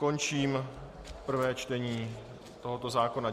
Končím prvé čtení tohoto zákona.